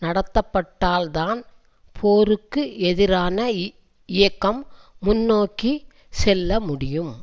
நடத்தப்பட்டால்தான் போருக்கு எதிரான இயக்கம் முன்னோக்கி செல்லமுடியும்